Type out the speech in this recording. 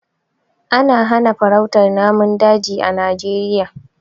Ana hana farautar namun daji a Najeriya.